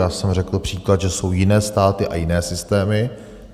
Já jsem řekl příklad, že jsou jiné státy a jiné systémy.